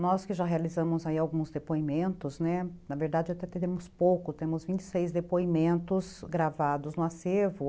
Nós que já realizamos alguns depoimentos, né, na verdade até temos pouco, temos vinte e seis depoimentos gravados no acervo.